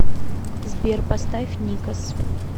сбер поставь никос